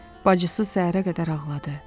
Bacısı səhərə qədər ağladı.